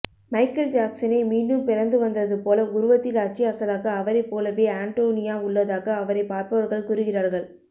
Michael ஜாக்சனே மீண்டும் பிறந்து வந்ததுபோல உருவத்தில் அச்சு அசலாக அவரைப் போலவே அண்டோனியா உள்ளதாக அவரைப் பார்ப்பவர்கள் கூறுகிறார்கள்